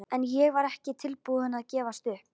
En ég var ekki tilbúin að gefast upp.